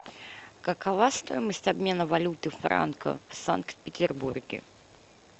какова стоимость обмена валюты франка в санкт петербурге